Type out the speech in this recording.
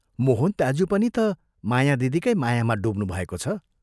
मोहन दाज्यू पनि ता माया दिदीकै मायामा डुब्नुभएको छ।